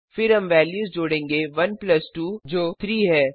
फिर हम वेल्यूज जोडेंगे 1 प्लस 2 जो 3 है